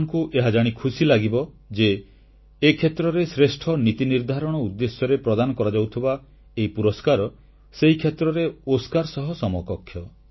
ଆପଣମାନଙ୍କୁ ଏହାଜାଣି ଖୁସି ଲାଗିବ ଯେ ଏ କ୍ଷେତ୍ରରେ ଶ୍ରେଷ୍ଠ ନୀତି ନିର୍ଦ୍ଧାରଣ ଉଦ୍ଦେଶ୍ୟରେ ପ୍ରଦାନ କରାଯାଉଥିବା ଏହି ପୁରସ୍କାର ସେହି କ୍ଷେତ୍ରରେ ଓସ୍କାର ସହ ସମକକ୍ଷ